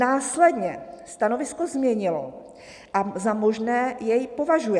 "Následně stanovisko změnilo a za možné jej považuje.